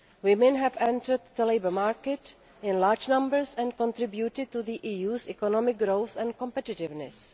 Women have entered the labour market in large numbers and contributed to the EU's economic growth and competitiveness.